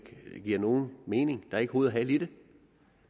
giver nogen mening er ikke hoved og hale i det